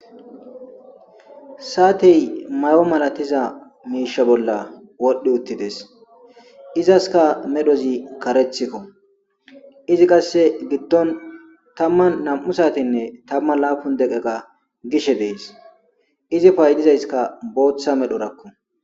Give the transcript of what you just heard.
Saatey may7o malatiza miisha bolla wodhdhi uttides izaska medhozi karethikko izi qasse giddon tamman nam7u saatenne tamman laapun deqeqa gishe dees izi paydizayska booththa medho rakku.